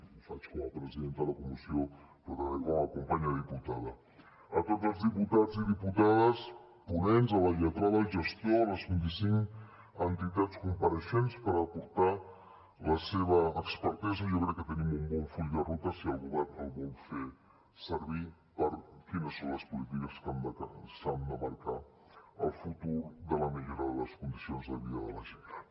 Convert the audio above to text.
ho faig com a presidenta de la comissió però també com a companya diputada a tots els diputats i diputades ponents a la lletrada el gestor a les vint i cinc entitats compareixents per aportar la seva expertesa jo crec que tenim un bon full de ruta si el govern el vol fer servir per quines són les polítiques que han de marcar el futur de la millora de les condicions de vida de la gent gran